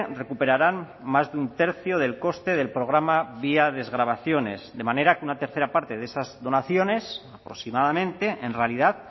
recuperarán más de un tercio del coste del programa vía desgravaciones de manera que una tercera parte de esas donaciones aproximadamente en realidad